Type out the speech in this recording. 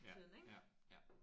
Ja ja ja